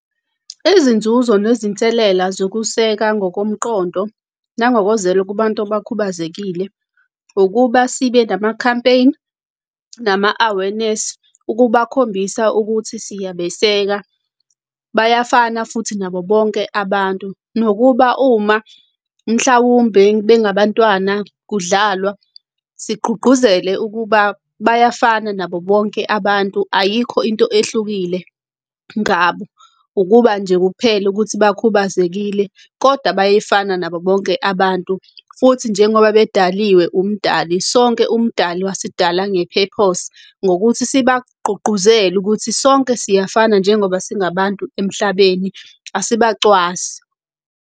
Izinzuzo nezinselela zokuseka ngokomqondo nangokozwelo kubantu abakhubazekile, ukuba sibe nama-campaign, nama-awearness ukubakhombisa ukuthi siyabeseka bayafana futhi nabo bonke abantu. Nokuba uma mhlawumbe bengabantwana kudlalwa, sigqugquzele ukuba bayafana nabo bonke abantu, ayikho into ehlukile ngabo, ukuba nje kuphela ukuthi bakhubazekile, kodwa bayefana nabo bonke abantu. Futhi, njengoba bedaliwe umdali sonke umdali wasidala nge-purpose nokuthi sibagqugquzele ukuthi sonke siyafana njengoba singabantu emhlabeni, asibacwasi.